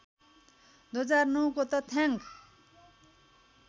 २००९ को तथ्याङ्क